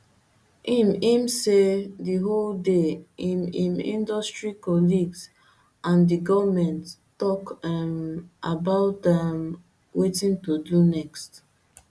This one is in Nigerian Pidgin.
im im say di whole day im im industry colleagues and di goment tok um about um wetin to do next